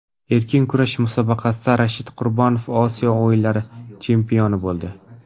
Erkin kurash musobaqasida Rashid Qurbonov Osiyo o‘yinlari chempioni bo‘ldi.